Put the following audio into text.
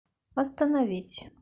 остановить